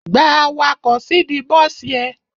Gba awakọ̀ síìdí bọ́sì ẹ!